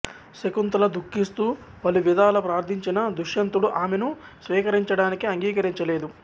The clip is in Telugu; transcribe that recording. శకుంతల దుఖిస్తూ పలువిధాల ప్రార్ధించినా దుష్యంతుడు ఆమెను స్వీకరించడానికి అంగీకరించలేదు